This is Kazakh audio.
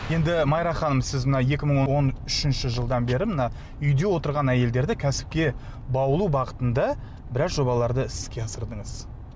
енді майра ханым сіз мына екі мың он үшінші жылдан бері мына үйде отырған әйелдерді кәсіпке баулу бағытында біраз жобаларды іске асырдыңыз